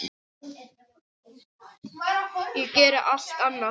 Ég geri allt annað.